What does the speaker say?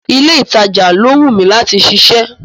Ilé ìtajà ló wún mi láti ṣiṣẹ́.